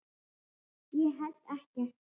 Ég held ekkert.